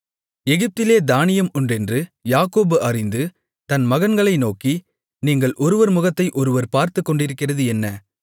எகிப்திலே தானியம் உண்டென்று யாக்கோபு அறிந்து தன் மகன்களை நோக்கி நீங்கள் ஒருவர் முகத்தை ஒருவர் பார்த்துக்கொண்டிருக்கிறது என்ன